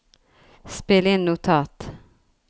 spill inn notat